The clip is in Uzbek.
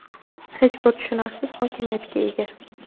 hech bir tushunarsiz hokimiyatga ega.